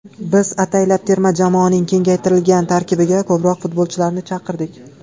Biz ataylab terma jamoaning kengaytirilgan tarkibiga ko‘proq futbolchilarni chaqirdik.